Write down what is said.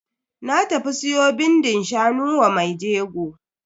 Na tafi siyo bindin shanu wa mai jegon.